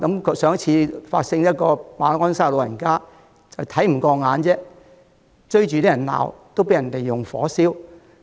較早前，在馬鞍山有一名長者因為看不過眼，追着人罵便被人縱火焚燒。